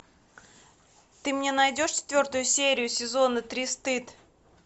ты мне найдешь четвертую серию сезона три стыд